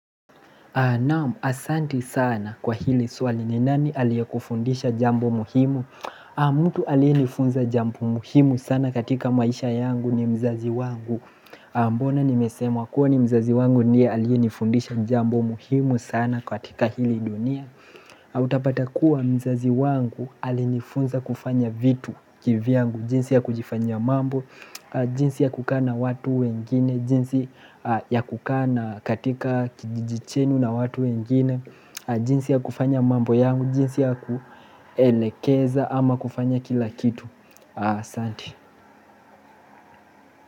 Naam, asanti sana kwa hili swali ni nani aliye kufundisha jambo muhimu? Mtu aliye nifunza jambo muhimu sana katika maisha yangu ni mzazi wangu. Mbona nimesema kuwa ni mzazi wangu ndiye alia nifundisha jambo muhimu sana katika hili dunia? Utapata kuwa mzazi wangu alinifunza kufanya vitu kivyangu. Jinsi ya kujifanyia mambo, jinsi ya kukaa na watu wengine, jinsi ya kukaa na katika kijiji chenu na watu wengine, jinsi ya kufanya mambo yangu, jinsi ya kuelekeza ama kufanya kila kitu. Asanti.